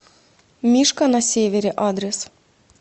мишка на севере адрес